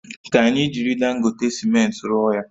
Ka anyi jiri Dangote simenti rụọ ya